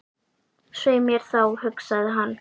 Svei mér þá, hugsaði hann.